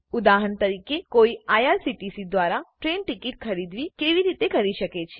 ઉદાહરણ તરીકેકોઈ આઇઆરસીટીસી દ્વારા ટ્રેન ટિકિટ ખરીદી કેવી રીતે કરી શકે છે